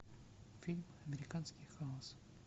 фильм американский хаос